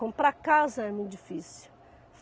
Comprar casa é muito difícil.